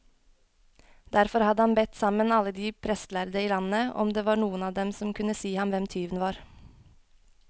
Derfor hadde han bedt sammen alle de prestlærde i landet, om det var noen av dem som kunne si ham hvem tyven var.